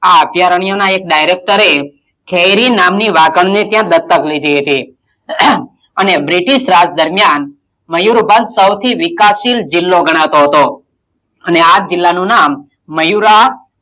આ અભિયારણ્યનાં એક director ઠહેરી નામની વાગણને ત્યાં દત્તક લીધી હતી અને british રાજ દરમિયાન મયુરભંજ સૌથી વિકાસશીલ જીલ્લો ગણાતો હતો અને આ જિલ્લાનું નામ મયૂરાં,